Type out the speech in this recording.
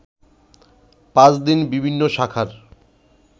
পাঁচ দিন বিভিন্ন শাখার